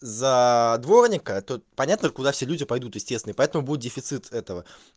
за дворника тут понятно куда все люди пойдут естественно поэтому будет дефицит этого